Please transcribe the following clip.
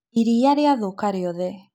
Iria rĩathũka rĩothe